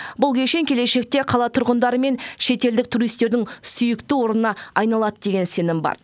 бұл кешен келешекте қала тұрғындары мен шетелдік туристердің сүйікті орнына айналады деген сенім бар